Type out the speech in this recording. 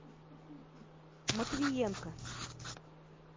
матвиенко